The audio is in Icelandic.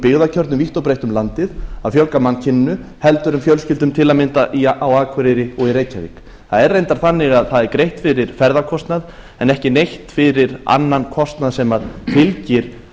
byggðakjörnum vítt og breitt um landið að fjölga mannkyninu heldur en fjölskyldum til að mynda á akureyri og í reykjavík það er reyndar þannig að það er greitt fyrir ferðakostnað en ekki neitt fyrir annan kostnað sem fylgir